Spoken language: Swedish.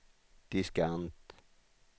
diskant